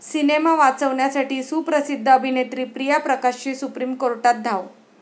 Cinema वाचवण्यासाठी सुप्रसिद्ध अभिनेत्री प्रिया प्रकाशची सुप्रीम कोर्टात धाव!